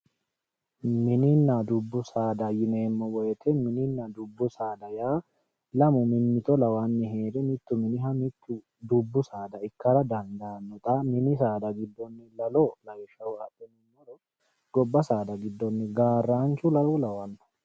Mininna dubbu saada yineemmo woyte mininna dubbu saada yaa lamu mimmitto lawanni heere mitu miniha mitu dubbu saada ikkara dandaanotta mini giddonni la'lo , gobba saada giddonni Garanchu la'lo lawano.